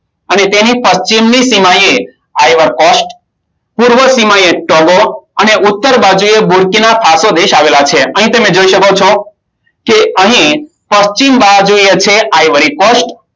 અને તેની પશ્ચિમની સીમાએ આયવરી કોસ્ટ, પૂર્વ સીમાએ ટોગો અને ઉત્તર બાજુએ બોરચીના પાસો દેશ આવેલા છે. અહીં તમે જોઈ શકો છો કે અહીં પશ્ચિમ બાજુએ છે આયવરી કોસ્ટ.